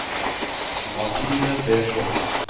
Martine Persson